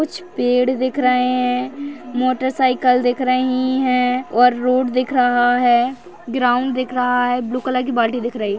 कुछ पेड़ दिख रहे हैं मोटरसाइकल दिख रही हैं और रोड दिख रहा है ग्राउंड दिख रहा है ब्लू कलर की बाल्टी दिख रही है।